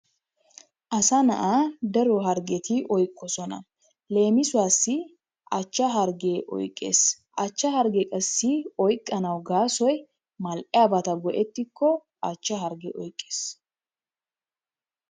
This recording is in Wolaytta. Asaa na'aa daro harggeti oyqqoosona. Leemisuwasi achchchaa harggee oyqqees. A chchaa harggee qassi oyqanawu gaasoy mal'yaabata go'ettikko achchchaa harggee oyqqees.